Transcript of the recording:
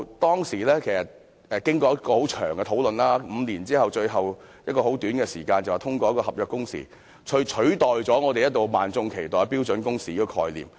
當時經過很長時間的討論，最後在很短時間內便通過合約工時，取代萬眾一直期待的標準工時概念。